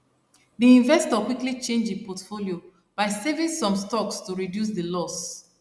the investor quickly change e portfolio by selling some stocks to reduce the loss